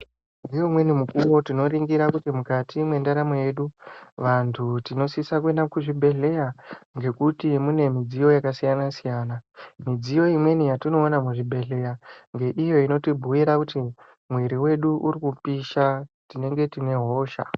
Ngeumweni mukuvo tinoringira kuti mukati mwendaramo yedu. Vantu tinosisa kuenda kuzvibhedhleya ngekuti mune midziyo yakasiyana-siyana. Midziyo imweni yatinoona muzvibhedhleya ngeiyo inotibhuira kuti mwiri vedu urikupisha tinenge tine hosha.